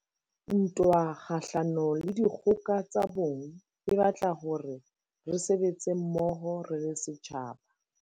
Ntwa kgahlano le dikgoka tsa bong e batla hore re sebetse mmoho re le setjhaba.